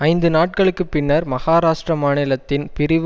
ஐந்து நாட்களுக்கு பின்னர் மகாராஷ்ட்ர மாநிலத்தின் பிரிவு